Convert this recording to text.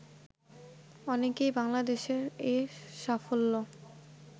অনেকেই বাংলাদেশের এ সাফল্য